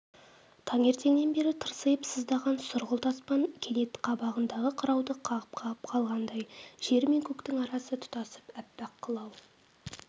таңертеңнен бері тырсиып сыздаған сұрғылт аспан кенет қабағындағы қырауды қағып-қағып қалғандай жер мен көктің арасы тұтасып аппақ қылау